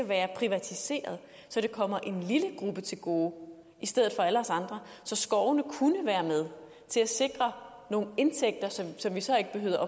være privatiseret så det kommer en lille gruppe til gode i stedet for alle os andre så skovene kunne være med til at sikre nogle indtægter som vi så ikke behøvede